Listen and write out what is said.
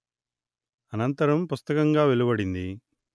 అనంతరం పుస్తకంగా వెలువడింది